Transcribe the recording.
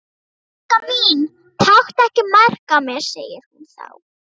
Elskan mín, taktu ekki mark á mér, segir hún þá.